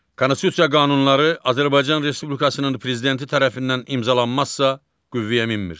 Konstitusiya qanunları Azərbaycan Respublikasının Prezidenti tərəfindən imzalanmazsa, qüvvəyə minmir.